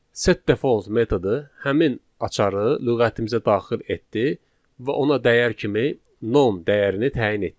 set default metodu həmin açarı lüğətimizə daxil etdi və ona dəyər kimi non dəyərini təyin etdi.